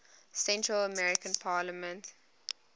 central american parliament